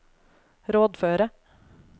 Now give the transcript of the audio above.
rådføre